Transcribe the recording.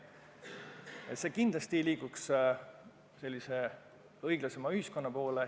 Niimoodi me kindlasti liiguks õiglasema ühiskonna poole.